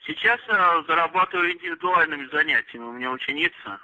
сейчас аа зарабатываю индивидуальными занятиями у меня ученица